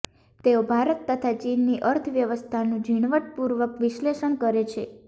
તેઓ ભારત તથા ચીનની અર્થ વ્યવસ્થાનું ઝીણવટપૂર્વક વિશ્ર્લેષણ કરે છે